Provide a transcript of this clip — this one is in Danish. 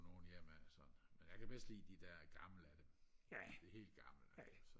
nogle ja men altså men jeg kan bedst lide de der gamle af dem de helt gamle så